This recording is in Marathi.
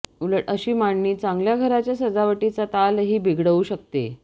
उलट अशी मांडणी चांगल्या घराच्या सजावटीचा तालही बिघडवू शकते